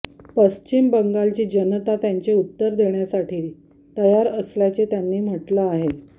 पश्चिम बंगालची जनता त्यांचे उत्तर देण्यासाठी तयार असल्याचे त्यांनी म्हटले आहे